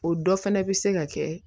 O dɔ fana bɛ se ka kɛ